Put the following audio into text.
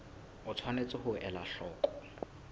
o tshwanetse ho ela hloko